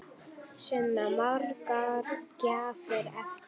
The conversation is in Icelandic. Sunna: Margar gjafir eftir?